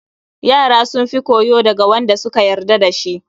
Yara sun fi koyo daga Wanda da suka yarda da su